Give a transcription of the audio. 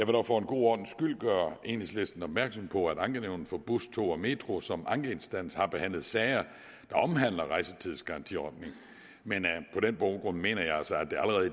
dog for god ordens skyld gøre enhedslisten opmærksom på at ankenævnet for bus tog og metro som ankeinstans har behandlet sager der omhandler rejsetidsgarantiordningen men på den baggrund mener jeg altså at